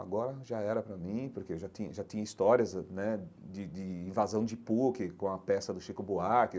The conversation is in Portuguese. Agora já era para mim, porque eu já tinha já tinha histórias né de de invasão de PUC com a peça do Chico Buarque.